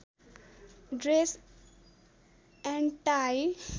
dress and tie